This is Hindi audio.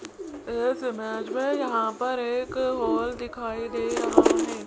इस इमेज में यहां पर एक हॉल दिखाई दे रहा है।